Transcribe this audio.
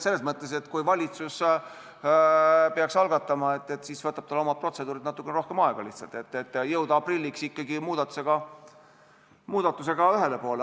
Selles mõttes, et kui valitsus peaks algatama, siis võtavad tal oma protseduurid lihtsalt natuke rohkem aega, et jõuda aprilliks ikkagi muudatusega ühele poole.